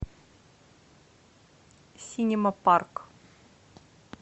синема парк